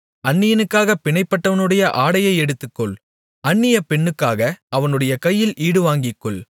அந்நியனுக்காகப் பிணைப்பட்டவனுடைய ஆடையை எடுத்துக்கொள் அந்நிய பெண்ணுக்காக அவனுடைய கையில் ஈடுவாங்கிக்கொள்